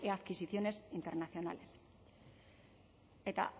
adquisiciones internacionales eta hara